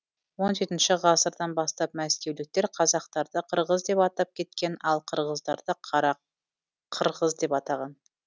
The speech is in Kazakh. он жетінші ғасырдан бастап мәскеуліктер қазақтарды қырғыз деп атап кеткен ал қырғыздарды қара қырғыз деп атаған